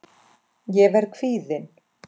Ég verð kvíðin.